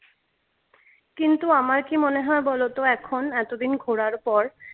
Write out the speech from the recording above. কিন্ত আমার কি মনে হয় বলতো এখন এতদিন ঘোরার পর?